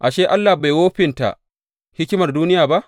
Ashe, Allah bai wofinta hikimar duniya ba?